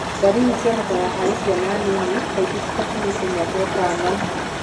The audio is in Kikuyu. Ndariri cionekanaga harĩ ciana nini, kaingĩ citakinyĩtie mĩaka ĩtano.